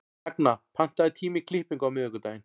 Ragna, pantaðu tíma í klippingu á miðvikudaginn.